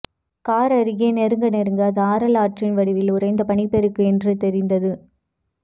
car அருகே நெருங்க நெருங்க அது ஆறல்ல ஆற்றின் வடிவில் உறைந்த பனிப்பெருக்கு என்று தெரிந்தது